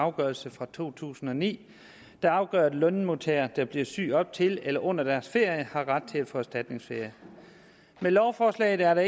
afgørelse fra to tusind og ni der afgør at lønmodtagere der bliver syge op til eller under deres ferie har ret til at få erstatningsferie med lovforslaget er det